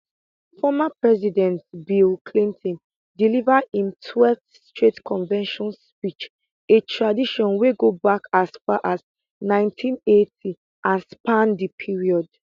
former president bill clinton deliver im 12th straight convention speech a tradition wey go back as far as 1980 and span di period